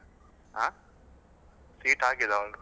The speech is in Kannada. Seat ಆಗಿದಾ?